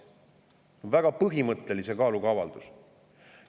See on väga põhimõttelise kaaluga avaldus.